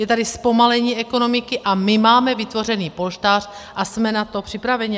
Je tady zpomalení ekonomiky a my máme vytvořen polštář a jsme na to připraveni.